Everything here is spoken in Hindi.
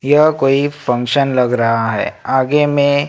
यह कोई फंक्शन लग रहा है आगे में--